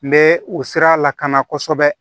N bɛ o sira lakana kosɛbɛ